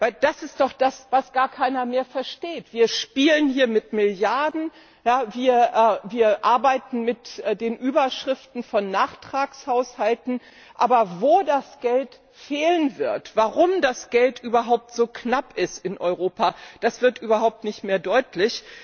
Denn das ist doch das, was gar keiner mehr versteht Wir spielen hier mit Milliarden, wir arbeiten mit den Überschriften von Nachtragshaushalten, aber wo das Geld fehlen wird, warum das Geld überhaupt so knapp ist in Europa, das wird überhaupt nicht mehr deutlich.